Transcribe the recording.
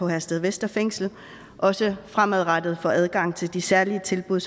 herstedvester fængsel også fremadrettet får adgang til de særlige tilbud